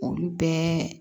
Olu bɛɛ